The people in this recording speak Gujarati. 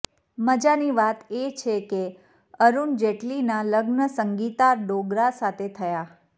મજાની વાત એ છે કે અરુણ જેટલીનાં લગ્ન સંગીતા ડોગરા સાથે થયાં